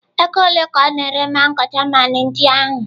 Ego ole ka ọ na-ere mango German ndị ahụ?